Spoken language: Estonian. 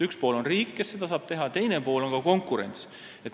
Üks pool on riik, kes seda saab teha, teine pool on konkurents.